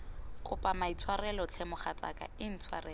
kopa maitshwarelo tlhe mogatsaka intshwarele